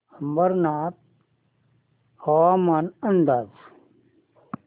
अंबरनाथ हवामान अंदाज